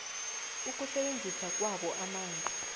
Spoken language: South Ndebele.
ukusebenzisa kwabo amanzi